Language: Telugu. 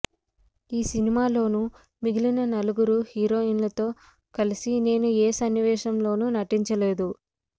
ఈ సినిమాలోని మిగిలిన ముగ్గురు హీరోయిన్లతో కలిసి నేను ఏ సన్నివేశంలోనూ నటించలేదు